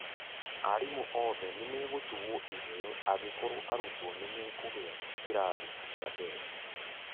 Arimũ othe nimegũtugũo iheo angikorwo arutwo nĩmekũgĩa kĩrathi kĩambere